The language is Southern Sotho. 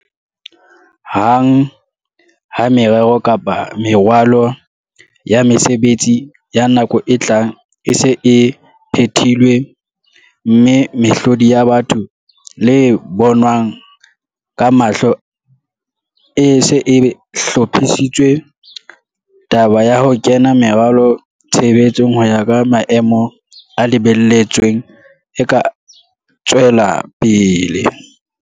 Hang ha merero kapa meralo ya mesebetsi ya nako e tlang e se e phethilwe, mme mehlodi ya batho le e bonwang ka mahlo e se e hlophisitswe, taba ya ho kenya meralo tshebetsong ho ya ka maemo a lebelletsweng e ka tswela pele.